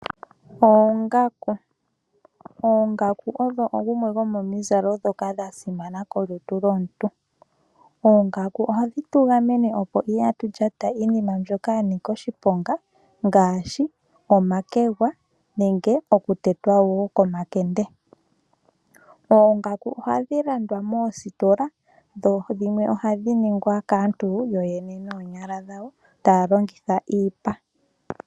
Oongaku odho dhimwe dhomomizalo ndhoka dhasimana kolutu lwomuntu. Oongaku ohadhi tugamene opo kaatu lyate iinima mbyoka yanika oshiponga ngaashi omakegwa nenge okutetwa wo komakende . Oongaku ohadhi landwa moositola dho dhimwe ohadhi ningwa kaantu yoyene noonyala dhawo, taya longitha iipa.